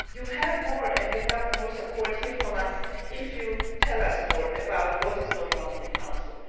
You will have more support here from us if you tell us more about what is going on in the Council.